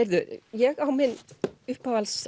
ég á minn uppáhalds